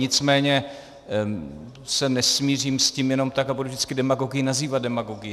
Nicméně se nesmířím s tím jenom tak a budu vždycky demagogii nazývat demagogií.